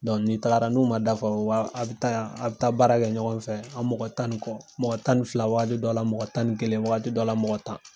ni tagara n'u ma dafa , wa a bi taa ya a bi taa baara kɛ ɲɔgɔn fɛ. An mɔgɔ tan ni kɔ mɔgɔ tan ni fila wagati dɔ la mɔgɔ tan ni kelen wagati dɔ la mɔgɔ tan.